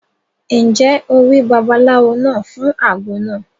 Ǹjẹ́ o rí babaláwo náà fún àgbo náà?